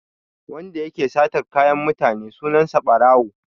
Wanda yake satar kayan mutane sunan sa Ɓarawo.